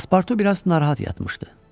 Paspartu biraz narahat yatmışdı.